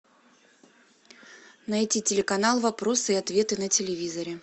найти телеканал вопросы и ответы на телевизоре